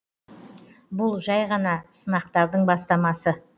бұл жәй ғана сынақтардың бастамасы